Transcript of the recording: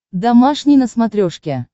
домашний на смотрешке